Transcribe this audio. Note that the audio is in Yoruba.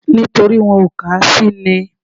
Nítorí wọn ò kà á sí ni